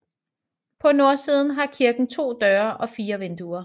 På nordsiden har kirken to døre og fire vinduer